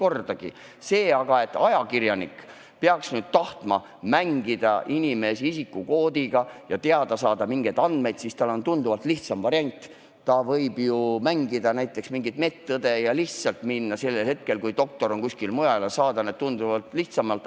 Ent mis puudutab seda, et ajakirjanik peaks tahtma mängida inimese isikukoodiga, et saada kätte mingisugused andmed, siis on tal tunduvalt lihtsam variant – ta võib ju mängida medõde ja lihtsalt minna kohale hetkel, kui doktor on kuskil mujal, ning saada andmed kätte tunduvalt lihtsamalt.